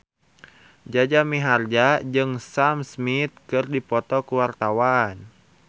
Jaja Mihardja jeung Sam Smith keur dipoto ku wartawan